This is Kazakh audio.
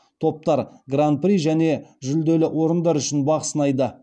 топтар гран при және жүлделі орындар үшін бақ сынайды